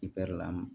lam